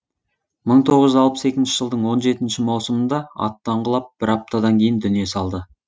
мың тоғыз жүз алпыс екінші жылдың он жетінші маусымында аттан құлап бір аптадан кейін дүние салды